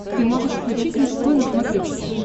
ты можешь включить мужской на смотрешке